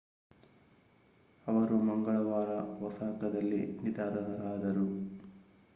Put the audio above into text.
ಅವರು ಮಂಗಳವಾರ ಒಸಾಕಾದಲ್ಲಿ ನಿಧನರಾದರು